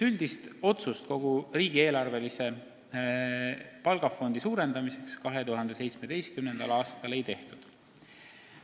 Üldist otsust kogu riigieelarvelist palgafondi suurendada 2017. aastal ei tehtud.